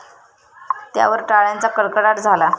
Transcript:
त्यावर टाळ्यांचा कडकडाट झाला.